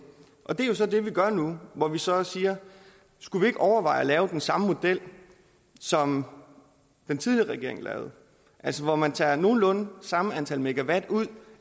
det er så det vi gør nu hvor vi så siger skulle vi ikke overveje at lave den samme model som den tidligere regering lavede altså hvor man tager nogenlunde samme antal megawatt ud